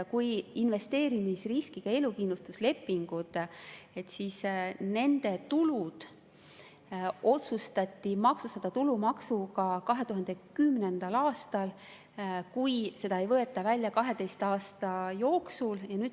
Kui on investeerimisriskiga elukindlustuslepingud, siis nende otsustati 2010. aastal maksustada tulumaksuga,.